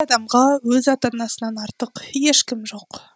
адамға өз ата анасынан артық ешкім жоқ